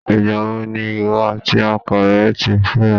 Ìgbà wo ni ìwọ àti ọkọ rẹ ti fẹ́ra?